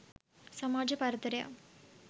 සමාජ පරතරයක්